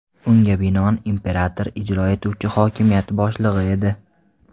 Unga binoan, imperator ijro etuvchi hokimiyat boshlig‘i edi.